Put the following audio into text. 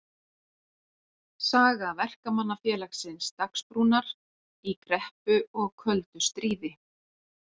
Saga Verkamannafélagsins Dagsbrúnar í kreppu og köldu stríði.